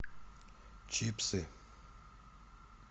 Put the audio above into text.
чипсы